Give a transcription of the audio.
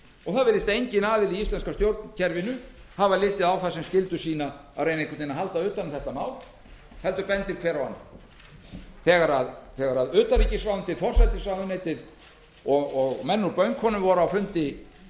og virðist enginn aðili í íslenska stjórnkerfinu hafa litið á það sem skyldu sína að reyna einhvern veginn að halda utan um þetta mál heldur bendir hver á annan þegar utanríkisráðuneytið forsætisráðuneytið og menn úr bönkunum voru á fundi